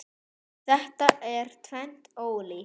Þetta er tvennt ólíkt.